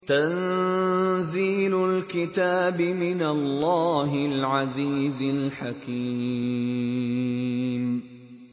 تَنزِيلُ الْكِتَابِ مِنَ اللَّهِ الْعَزِيزِ الْحَكِيمِ